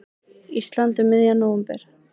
Íslands um miðjan nóvember.